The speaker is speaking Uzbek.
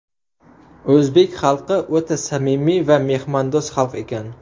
O‘zbek xalqi o‘ta samimiy va mehmondo‘st xalq ekan.